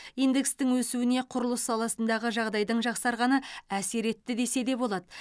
индекстің өсуіне құрылыс саласындағы жағдайдың жақсарғаны әсер етті десе де болады